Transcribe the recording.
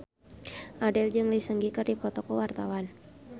Abdel jeung Lee Seung Gi keur dipoto ku wartawan